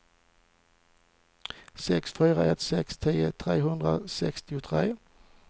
sex fyra ett sex tio trehundrasextiotre